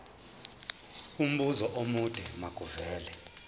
umbuzo omude makuvele